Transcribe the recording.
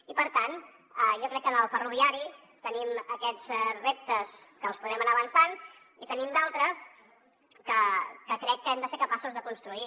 i per tant jo crec que en el ferroviari tenim aquests reptes que els podrem anar avançant i en tenim d’altres que crec que hem de ser capaços de construir